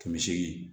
Kɛmɛ seegin